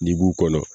N'i b'u kɔnɔ